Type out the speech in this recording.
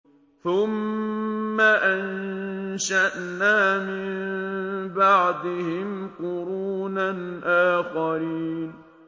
ثُمَّ أَنشَأْنَا مِن بَعْدِهِمْ قُرُونًا آخَرِينَ